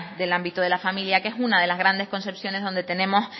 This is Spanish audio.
del ámbito de la familia que es una de las grandes concepciones donde tenemos